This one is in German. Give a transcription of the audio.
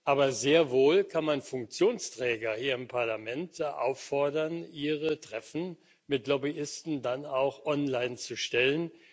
Aber sehr wohl kann man Funktionsträger hier im Parlament auffordern, ihre Treffen mit Lobbyisten dann auch online zu stellen.